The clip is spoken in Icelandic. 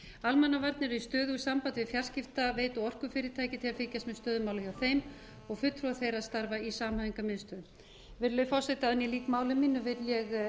almannavarnir eru í stöðugu sambandi við fjarskiptaveitur og orkufyrirtækja til að fylgjast með stöðu mála hjá þeim og fulltrúar þeirra starfa í samhæfingarmiðstöðvum virðulegi forseti áður en ég lýk máli mínu vil ég